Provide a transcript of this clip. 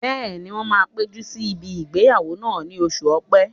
Bẹ́ẹ̀ni, wọ́n máa péjú níbi ìgbéyàwó náà ní oṣù ọ̀pẹ́